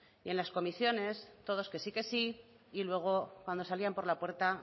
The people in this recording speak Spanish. y en las comisiones todos que sí que sí y luego cuando salían por la puerta